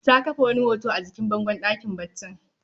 Ta kafe wani hoto a jikin bangon ɗakin baccin